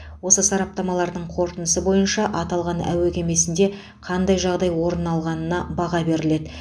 осы сараптамалардың қорытындысы бойынша аталған әуе кемесінде қандай жағдай орын алғанына баға беріледі